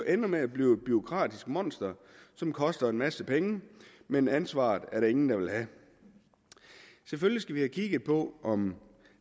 ender med at blive et bureaukratisk monster som koster en masse penge men ansvaret er der ingen der vil have selvfølgelig skal vi have kigget på om